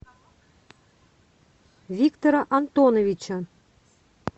виктора антоновича